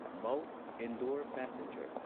ꯃꯧ ꯏꯟꯗꯣꯔ ꯄꯦꯁꯦꯟꯖꯔ